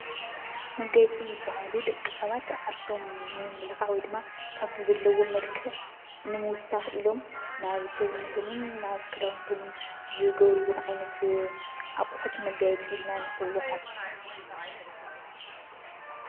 መጋየፂ ዝበሃሉ ደቂ ሰባት ዓርሶም ንምምልካዕ ወይ ድማ ካብቲ ዘለዎም መልክዕ ንምውሳኸ ኢሎም ናብ ሰውነቶምን ናብ ክዳውንቶምን ዝገብርዎም ዓይነት ኣቑሑት መጋየፂ ኢልና ንፅውዖ።